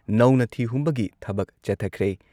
ꯅꯧꯅ ꯊꯤ-ꯍꯨꯝꯕꯒꯤ ꯊꯕꯛ ꯆꯠꯊꯈ꯭ꯔꯦ꯫